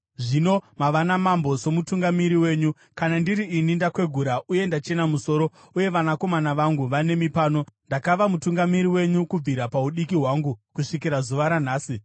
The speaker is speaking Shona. Zvino mava namambo somutungamiri wenyu. Kana ndiri ini, ndakwegura uye ndachena musoro, uye vanakomana vangu vanemi pano. Ndakava mutungamiri wenyu kubvira paudiki hwangu kusvikira zuva ranhasi.